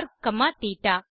ர் comma தேட்ட